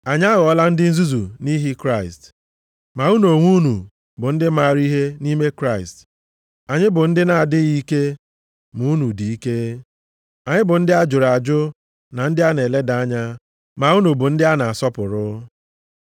Anyị aghọọla ndị nzuzu nʼihi Kraịst, ma unu onwe unu bụ ndị maara ihe nʼime Kraịst. Anyị bụ ndị na-adịghị ike ma unu dị ike. Anyị bụ ndị a jụrụ ajụ na ndị a na-eleda anya, ma unu bụ ndị a na-asọpụrụ.